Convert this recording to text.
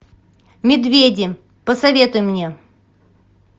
медведи посоветуй мне